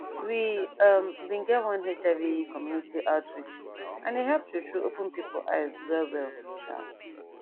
we um bin get one hiv community outreach and e help true true open pipo eyes well well um